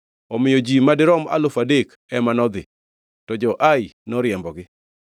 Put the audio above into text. Omiyo ji madirom alufu adek ema nodhi, to jo-Ai noriembogi,